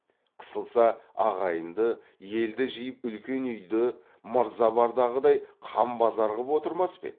қысылса ағайынды елді жиып үлкен үйді мырза бардағыдай қан базар ғып отырмас па еді